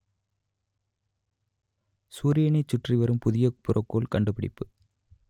சூரியனைச் சுற்றி வரும் புதிய புறக்கோள் கண்டுபிடிப்பு